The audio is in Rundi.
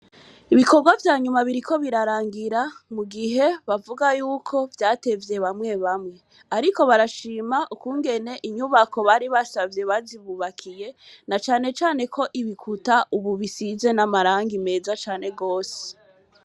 Ibikorwa vyanyuma biriko birarangira, mugihe bavuga yuko vyatevye bamwe bamwe, ariko barashima ukungene inyubako bari basavye bazibubakiye, na cane cane ko ibikuta ubu bisize amarangi meza cane gose.